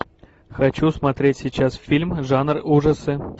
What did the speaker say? хочу смотреть сейчас фильм жанр ужасы